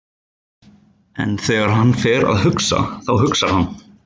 En þegar hann fer að hugsa, þá hugsar hann